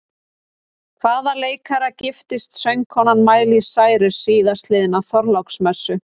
Hvaða leikara giftist söngkonan Miley Cyrus síðastliðna þorláksmessu?